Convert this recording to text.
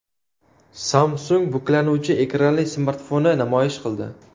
Samsung buklanuvchi ekranli smartfonni namoyish qildi.